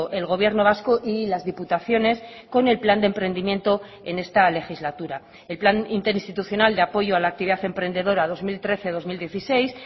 el gobierno vasco y las diputaciones con el plan de emprendimiento en esta legislatura el plan interinstitucional de apoyo a la actividad emprendedora dos mil trece dos mil dieciséis